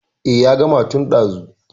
Eh ya gama tun ɗazu.